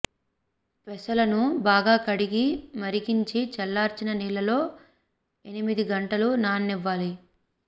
పెసలను బాగా కడిగి మరిగించి చల్లార్చిన నీళ్లల్లో ఎనిమిది గంటలు నాననివ్వాలి